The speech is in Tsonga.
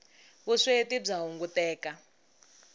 vusweti bya hunguteka